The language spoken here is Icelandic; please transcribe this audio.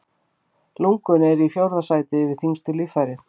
Lungun eru í fjórða sæti yfir þyngstu líffærin.